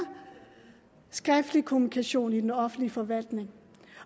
skriftlig kommunikation i den offentlige forvaltning